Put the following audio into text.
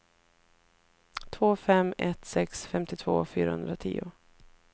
två fem ett sex femtiotvå fyrahundratio